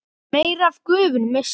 meira af gufunni missist þá.